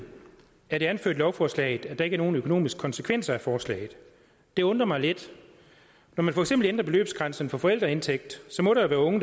anført i lovforslaget at der ikke er nogen økonomiske konsekvenser af forslaget det undrer mig lidt når man for eksempel ændrer beløbsgrænsen for forældreindtægt må der være unge